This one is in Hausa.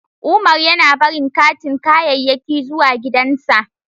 Umar yana barin katin kayayyaki zuwa gidansa.